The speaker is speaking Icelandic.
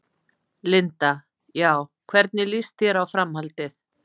Linda: Já, hvernig lýst þér á framhaldið?